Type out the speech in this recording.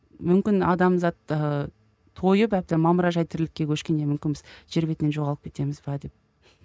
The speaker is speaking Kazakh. мүмкін адамзат ыыы тойып әбден мамыражай тірлікке көшкенде мүмкін біз жер бетінен жоғалып кетеміз бе деп